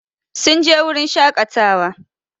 Sun je wurin shakatawa